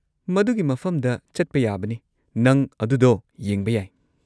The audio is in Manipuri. ꯃꯗꯨꯒꯤ ꯃꯐꯝꯗ ꯆꯠꯄ ꯌꯥꯕꯅꯤ, ꯅꯪ ꯑꯗꯨꯗꯣ ꯌꯦꯡꯕ ꯌꯥꯏ꯫